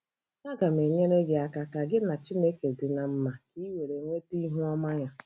Aga m enyere gị aka ka gị na Chineke dị ná mma ka ị were nweta ihu ọma ya.